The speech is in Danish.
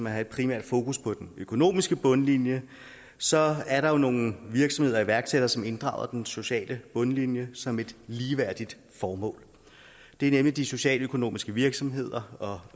have et primært fokus på den økonomiske bundlinje så er der jo nogle virksomheder og iværksættere som inddrager den sociale bundlinje som et ligeværdigt formål det er nemlig de socialøkonomiske virksomheder og